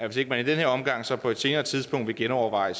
hvis ikke i den her omgang så på et senere tidspunkt vil genoverveje